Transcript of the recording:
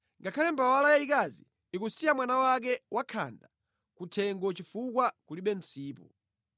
Ngakhale mbawala yayikazi ikusiya mwana wake wakhanda ku thengo chifukwa kulibe msipu.